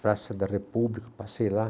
Praça da República, passei lá.